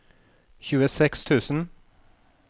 tjueseks tusen